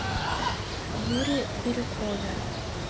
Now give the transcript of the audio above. юре бирюкове